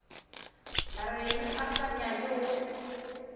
reng a sa nyake go